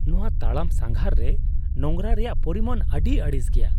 ᱱᱚᱶᱟ ᱛᱟᱲᱟᱢ ᱥᱟᱸᱜᱷᱟᱨ ᱨᱮ ᱱᱳᱝᱨᱟ ᱨᱮᱭᱟᱜ ᱯᱚᱨᱤᱢᱟᱱ ᱟᱹᱰᱤ ᱟᱹᱲᱤᱥ ᱜᱮᱭᱟ ᱾